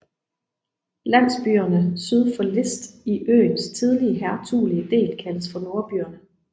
Landsbyerne syd for List i øens tidligere hertuglige del kaldes for Nordbyerne